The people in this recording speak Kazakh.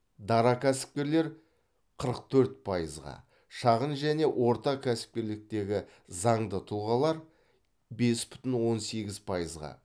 дара кәсіпкерлер қырық төрт пайызға шағын және орта кәсіпкерліктегі заңды тұлғалар бес бүтін он сегіз пайызға